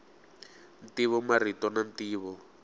ntivo marito na ntivo